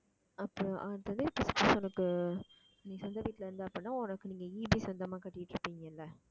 அப்போ உனக்கு நீ சொந்த வீட்டில இருந்த அப்படின்னா உனக்கு நீங்க EB சொந்தமா கட்டிட்டு இருப்பீங்க இல்ல